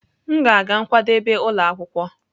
M ga-aga nkwadebe ụlọ akwụkwọ.